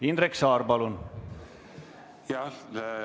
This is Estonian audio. Indrek Saar, palun!